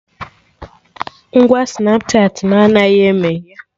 Ngwa Snapchatị mụ anaghị emeghe